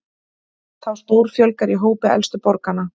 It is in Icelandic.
Þá stórfjölgar í hópi elstu borgaranna